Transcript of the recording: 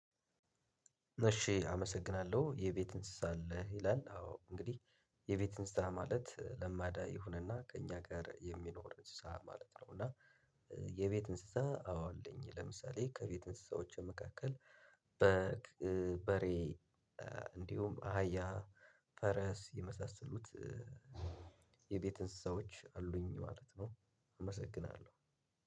እሺ አመሰግናለሁ የቤት እንስሳ አለህ ይላል አዎ እንግዲህ የቤት እንስሳ ማለት ለማዳ ይሁንና ከእኛ ጋር የሚኖር እንስሳ ማለት ነው። እና የቤት እንስሳ አዎ አለኝ። ለምሳሌ ከቤት እንስሳወቼ መካከል በግ በሬ እንዲሁም አህያ ፈረስ የመሳሰሉት። የቤት እንስሳዎች አሉኝ ማለት ነው። አመሰግናለሁ